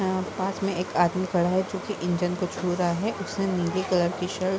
यहां पास में एक आदमी खड़ा है जोकि इंजिन को छू रहा है। उसने नीली कलर की शर्ट --